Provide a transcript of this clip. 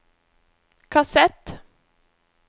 kassett